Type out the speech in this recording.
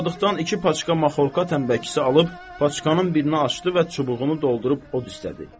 Molla Sadıqdan iki paçka maxorka tənbəkisi alıb, paçkanın birini açdı və çubuğunu doldurub od istədi.